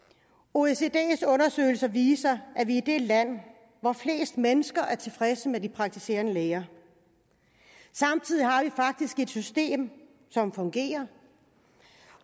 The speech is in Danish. oecds undersøgelser viser at vi er det land hvor flest mennesker er tilfredse med de praktiserende læger samtidig har vi faktisk et system som fungerer